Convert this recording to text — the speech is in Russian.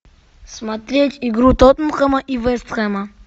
смотреть игру тоттенхэма и вест хэма